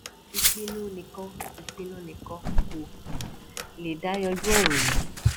ìpinnu nìkan ìpinnu nìkan kò um lè dá yanjú ọrọ yìí